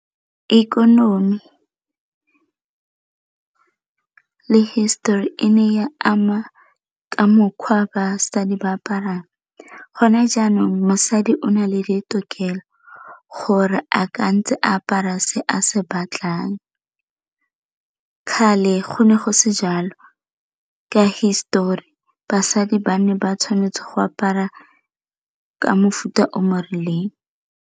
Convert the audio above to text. Ikonomi le histori e ne ya ama ka mokgwa basadi ba aparang, gone jaanong mosadi o na le ditokelo gore a ka ntse apara se a se batlang, kgale go ne go se jalo ka histori basadi ba ne ba tshwanetse go apara ke mofuta o mo rileng.